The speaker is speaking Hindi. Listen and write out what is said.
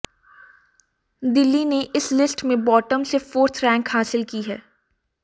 दिल्ली ने इस लिस्ट में बॉटम से फोर्थ रैंक हासिल की है